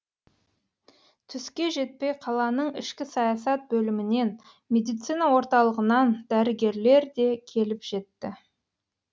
түске жетпей қаланың ішкі саясат бөлімінен медицина орталығынан дәрігерлер де келіп жетті